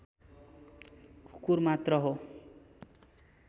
कुकुर मात्र हो